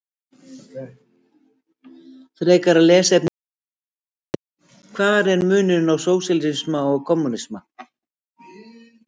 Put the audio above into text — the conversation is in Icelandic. Frekara lesefni á Vísindavefnum: Hver er munurinn á sósíalisma og kommúnisma?